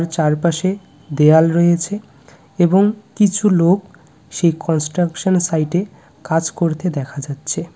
আর চারপাশে দেয়াল রয়েছে এবং কিছু লোক সেই কনস্ট্রাকশনের সাইটে কাজ করতে দেখা যাচ্ছে।